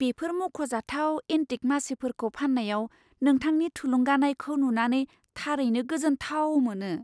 बेफोर मख'जाथाव एन्टिक मासिफोरखौ फान्नायाव नोंथांनि थुलुंगानायखौ नुनानै थारैनो गोजोनथाव मोनो!